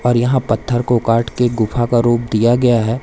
और यहां पत्थर को काटके गुफा का रूप दिया गया है।